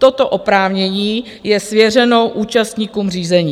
Toto oprávnění je svěřeno účastníkům řízení.